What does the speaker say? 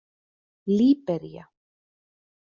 Líbería